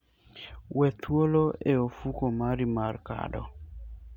We thuolo e ofuko mari mar kado.